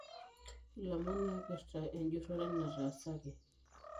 Ilomon oipirta ejurore natasaki